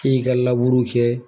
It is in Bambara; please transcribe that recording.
K'i ka kɛ